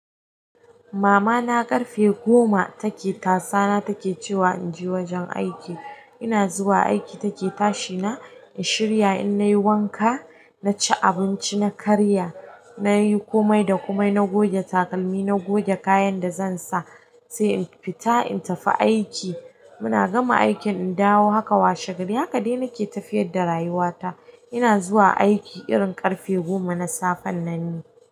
Mama na ƙarfe goma take tasana take cewa in je wajen aiki, ina zuwa aiki take tashi na, in shirya in na yi wanka, na ci abinci, na karya, na yi komai da komai, na goge takalmi, na goge kayan da zan sa, sai in fita in tafi aiki. Muna gama aikin in dawo haka washegari, haka dai nake tafiyar da rayuwa ta. Ina zuwa aiki irin ƙarfe goma na safen nan ni.